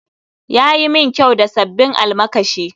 Ya yi min kyau da sabbin almakashi